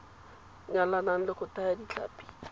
nyalanang le go thaya ditlhapi